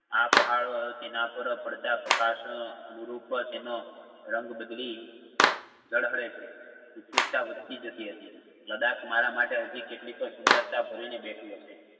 આ પહાડો તેના પાર પડતા પ્રકાશ~શઅ અનુરૂપ તેનો રંગ બદલી ઝળહળે છે. ઉત્સુકતા વધતી જતી હતી લદાખ મારા માટે હાજિ કેટલીક સુંદરતા ભરીને બેઠી હશે.